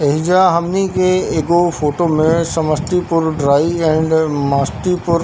एहिजा हमनी के एगो फोटो में समस्तीपुर ड्राई एंड मस्तीपुर --